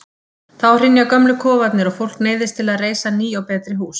Þá hrynja gömlu kofarnir og fólk neyðist til að reisa ný og betri hús.